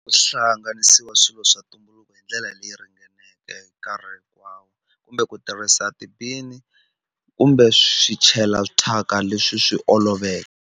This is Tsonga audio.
Ku hlanganisiwa swilo swa ntumbuluko hindlela leyi ringaneke nkarhi hinkwawo kumbe ku tirhisa ti-bin kumbe swi chela thyaka leswi swi oloveke.